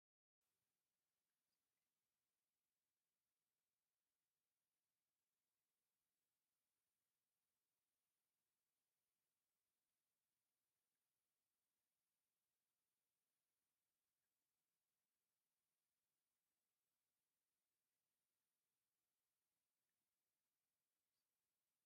ኣብዚ ቐይሕ ሕብሪ ዲቪዛ ዝተከደኑ ሓይልታት ምክልኻል፡ ብኽቡርን ፍሉይን ሰልፊ ክጓዓዛ ይረኣያ። ብወድዓዊ ኣቃውማ ተሰሪዖም፡ ናይ ክብርን ርእሰ ተኣማንነትን ስምዒት የርእዩ። ከም ትብዓትን ክብርን ሃገራውነትን ዝመልአ ምንቅስቓስ ዘርኢ ምስሊ እዩ።